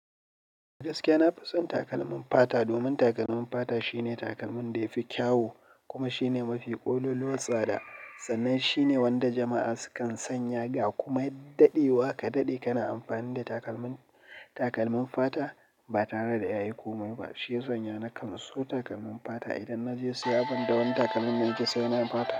Da gaske, na fi son takalmin fata domin takalmin fata shine takalmin da yafi kyau kuma shine mafi ƙololuwar tsada sannan shine wanda jama'a sukan sanya ga kuma ya daɗewa kadaɗe kana amfani da takalmin, takalmin fata ba tare da ya yi komai ba shiya sanya na kan so takalmin fata idan naje siya banda wani takalmin dana ke so saina fata.